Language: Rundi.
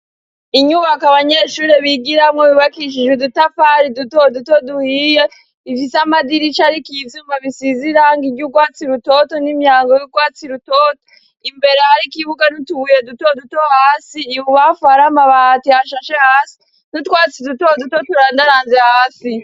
Inyubak' abanyeshuri bigiramwo bibakishije udutafari duto duto duhiye ifise amadirisha ariko izuma bisiz' iranga iry'ukwatsi rutoto n'imyango y'utwatsi rutoto imbere ariko ibuga n'utubuye duto duto hasi i bubafarama bahati hashashe hasi n'utwatsi duto duto turandaranze hasi.